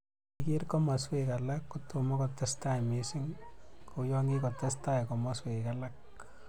Ye iker komaswek alak kotomo kotestai mising kouyo kikotestai komaswek alak